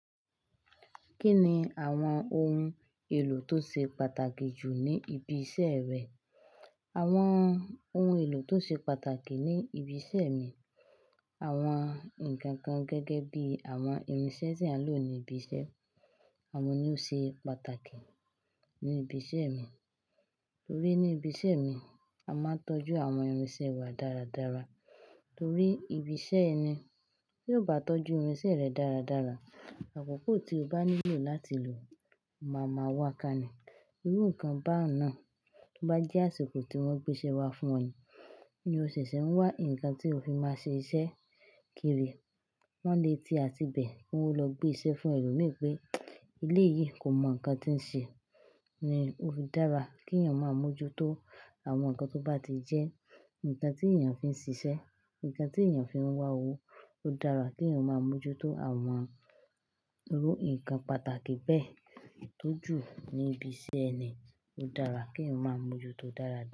Kí ni àwọn ohun èlò tó ṣe pàtàkì jù ní ibi iṣẹ́ rẹ? Àwọn ohun èlò tó ṣe pàtàkì ní ibi iṣẹ́ mi, àwọn nǹkan kan gẹ́gẹ́ bí àwọn irinṣẹ́ tí eeyan ń lò ní ibi iṣẹ́. Àwọn ní ó ṣe pàtàkì ní ibi iṣẹ́ mi. Torí ní ibi iṣẹ́ mi, a máa ń tọ́jú àwọn irinṣẹ́ wa dáradára. Torí ibi iṣẹ́ ẹni tí ò bá tọ́jú irinṣẹ́ rẹ̀ dáradára, àkókò tí o bá nílò láti lò máa máa wá ká ní. Irú nǹkan bá n nàá to bá jẹ́ àsìkò tí wọ́n gbé iṣẹ́ wá fún o ni, ti o ṣẹ̀ṣẹ̀ ń wá nǹkan tí o fi máa ṣe iṣẹ́ kiri. Wọ́n lé tí àti bẹ̀, ki wọn o lọ gbé iṣẹ́ fún ẹlòmíì pé eléyìí kò mọ nǹkan tí ń ṣe. Ni ó dára kí èèyàn máa mójútó àwọn nǹkan tó bá ti jẹ́ nǹkan tí èèyàn fi ń ṣiṣẹ́, nǹkan tí èèyàn fi ń wá owó. Ó dára kí èèyàn máa mójútó àwọn irú nǹkan pàtàkì bẹ́ẹ̀ eyi tójú ní ibi iṣẹ́ ẹni. Ó dára kí èèyàn máa mójútó dáradára.